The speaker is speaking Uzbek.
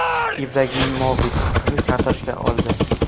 Ibragimovich qizil kartochka oldi.